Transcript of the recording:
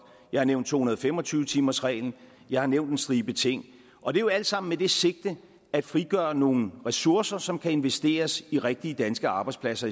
jeg har nævnt to hundrede og fem og tyve timersreglen jeg har nævnt en stribe ting og det er jo alt sammen med det sigte at frigøre nogle ressourcer som kan investeres i rigtige danske arbejdspladser